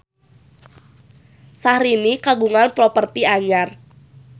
Syahrini kagungan properti anyar